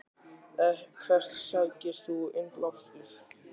Hvert sækir þú innblástur?